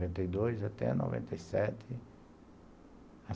Noventa e dois, até noventa e sete.